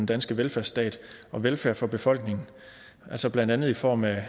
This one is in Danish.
danske velfærdsstat og velfærd for befolkningen altså blandt andet i form af